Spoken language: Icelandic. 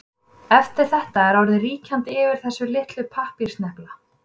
Eftir þetta er orðið ríkjandi yfir þessa litlu pappírssnepla.